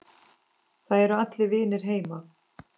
Það eru allir vinir heima.